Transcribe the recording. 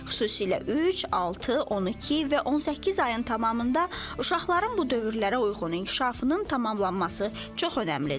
Xüsusilə üç, altı, 12 və 18 ayın tamamında uşaqların bu dövrlərə uyğun inkişafının tamamlanması çox önəmlidir.